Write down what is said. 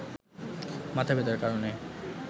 মাথাব্যথার কারণে